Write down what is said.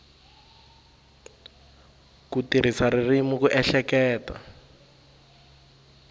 ku tirhisa ririmi ku ehleketa